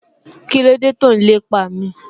Kíló dé tó n lépa mi?